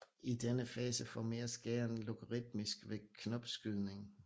I denne fase formeres gæren logaritmisk ved knopskydning